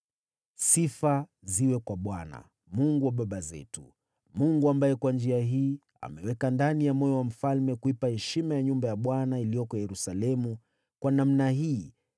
Sifa ziwe kwa Bwana , Mungu wa baba zetu, Mungu ambaye kwa njia hii ameweka ndani ya moyo wa mfalme kuipa heshima nyumba ya Bwana iliyoko Yerusalemu, kwa namna hii